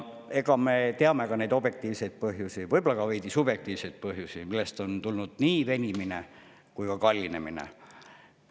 Me teame neid objektiivseid põhjusi, võib-olla ka veidi subjektiivseid põhjusi, millest on tulnud nii see venimine kui ka kallinemine.